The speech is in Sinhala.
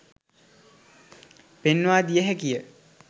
පෙන්වා දිය හැකි ය.